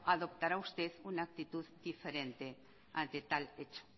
adoptará usted una actitud diferente de tal hecho